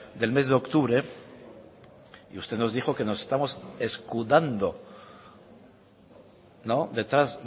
del mes de octubre y usted nos dijo que nos estamos escudando no detrás